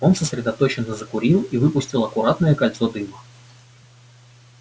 он сосредоточенно закурил и выпустил аккуратное кольцо дыма